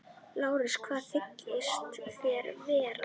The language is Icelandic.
LÁRUS: Hvað þykist þér vita?